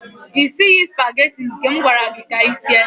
Ị sighị supageti nke m gwara gị ka i sie.